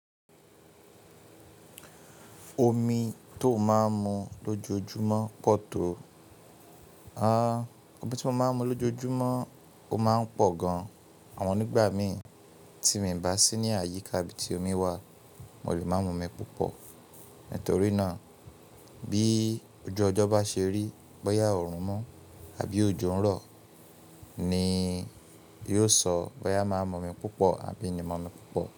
Omi tó máa ń mu lójoojúmọ́ pọ̀ tó? Omi tí mo máa ń mu lójoojúmọ́ ó máa ń pọ̀ gan. Àmọ́ nígbà mi tí mi ń bà sí ní àyíká ibi tí omi wà mo lè máa mu omi púpọ̀. Nítorí náà bí ojú ọjọ́ bá ṣe rí bóyá oòrùn mọ́ àbí ojú ń rọ̀ ni yóò sọ bóyá màá mu omi púpọ̀ àbí mi ni mu omi púpọ̀.